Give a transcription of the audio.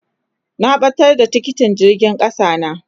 Na batar da tikitin jirgin kasa na.